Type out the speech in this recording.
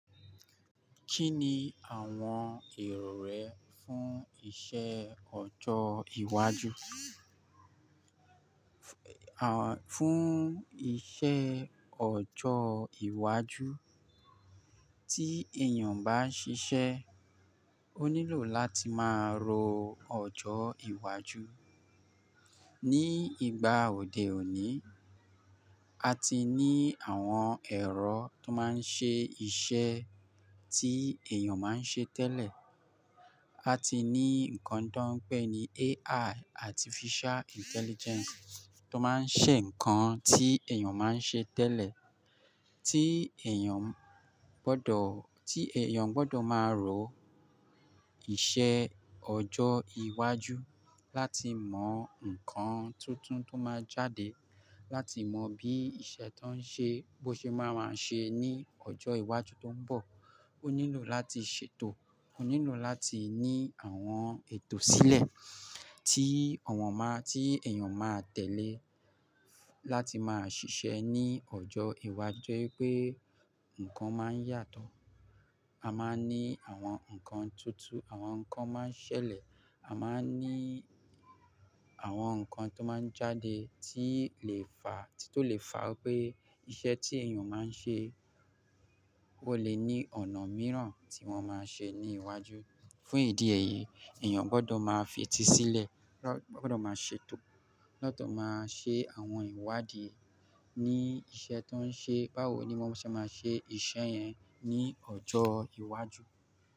Kí ni àwọn èrò rẹ fún iṣẹ́ ọjọ́ iwájú? Fún iṣẹ́ ọjọ́ iwájú tí èèyàn bá ṣiṣẹ́, ó nílò láti máa rò ọjọ́ iwájú. Ni ìgbà òde òní, a ti ní àwọn ẹ̀rọ tó máa ń ṣe iṣẹ́ tí èèyàn máa ń ṣe tẹ́lẹ̀. A ti ní nǹkan tó ń pè ní AI, Artificial Intelligence, tó máa ń ṣe nǹkan tí èèyàn máa ń ṣe tẹ́lẹ̀. Tí èèyàn gbọ́dọ̀, tí èèyàn gbọ́dọ̀ máa rò iṣẹ́ ọjọ́ iwájú láti mọ nǹkan tuntun tó máa jáde, láti mọ bí iṣẹ́ tó ń ṣe bó ṣe máa máa ṣe ní ọjọ́ iwájú tó ń bọ̀. Ó nílò láti ṣètò, ó nílò láti ní àwọn ètò sílẹ̀ tí awọ̀n máa, tí èèyàn máa tẹ̀lé láti máa ṣiṣẹ́ ní ọjọ́ iwájú. Tori wí pé, ǹkan máa ń yàtọ̀. A máa ń ní àwọn nǹkan tuntun, àwọn nǹkan máa ń ṣẹlẹ̀, a máa ń ní àwọn nǹkan tó máa ń jáde tí lè fà, tí tó lè fà pé iṣẹ́ tí èèyàn máa ń ṣe, ó lè ní ọ̀nà mìíràn tí wọ́n máa ṣe ní iwájú. Fún ìdí èyí, èèyàn gbọ́dọ̀ máa fetí sílẹ̀, gbọ́dọ̀ máa ṣètò lọ́ to máa ṣe àwọn ìwádìí ní iṣẹ́ tó ń ṣe. Báwo ni wọ́n ṣé máa ṣe iṣẹ́ yẹn ní ọjọ́ iwájú?